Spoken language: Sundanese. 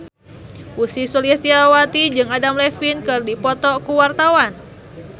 Ussy Sulistyawati jeung Adam Levine keur dipoto ku wartawan